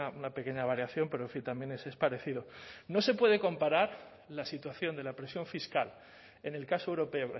una pequeña variación pero en fin también ese es parecido no se puede comparar la situación de la presión fiscal en el caso europeo